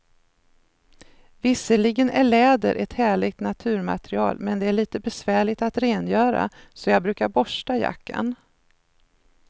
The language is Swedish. Visserligen är läder ett härligt naturmaterial, men det är lite besvärligt att rengöra, så jag brukar borsta jackan.